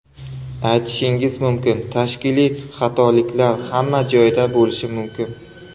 Aytishingiz mumkin, tashkiliy xatoliklar hamma joyda bo‘lishi mumkin.